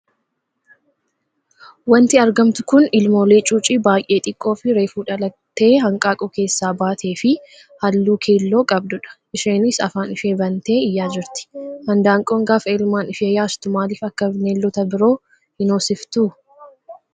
Wanti argamtu kun ilmoolee cuucii baay'ee xiqqoo fi reefu dhalattee hanqaaquu keessa baatee fi halluu keelloo qabdudha. Isheenis afaan ishee bantee iyyaa jirti. Handaanqoon gaafa ilmaan ishee yaastu maaliif akka bineeldota biroo hin hoosiftu?